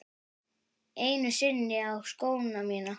Einu sinni á skóna mína.